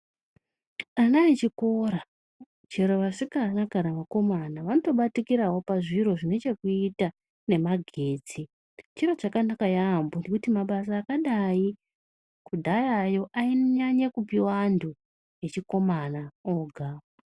Ana echikora chero vasikana kana vakomana vanotobatikirawo pazviro zvinechekuita nemagetsi. Chiro chakanaka yaamho ngekuti mabasa akadai kudhayayo ainyanya kupihwa antu echikomana ega.